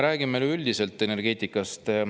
Räägime nüüd üleüldiselt energeetikast.